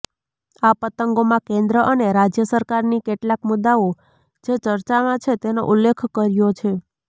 આ પતંગોમાં કેન્દ્ર અને રાજ્ય સરકારની કેટલાક મુદ્દાઓ જે ચર્ચામાં છે તેનો ઉલ્લેખ કર્યો છે